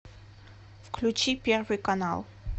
включи первый канал